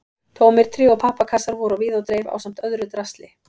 Tómir tré- og pappakassar voru á víð og dreif ásamt öðru drasli.